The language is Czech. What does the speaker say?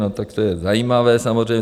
No tak to je zajímavé samozřejmě.